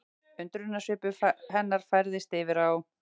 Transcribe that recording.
Undrunarsvipur hennar færðist yfir á